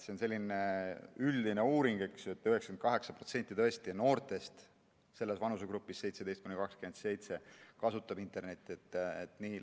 See on selline üldine uuring, et 98% noortest vanusegrupis 17–27 kasutab internetti.